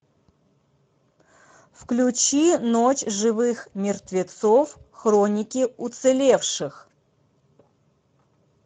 включи ночь живых мертвецов хроники уцелевших